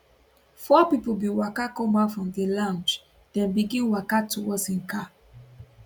four pipo bin waka comeout from di lounge dem begin waka go towards im car